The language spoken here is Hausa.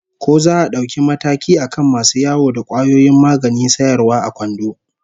Ko za a dauki mataki akan masu yawo da kwayoyin maganin sayarwa a kwando?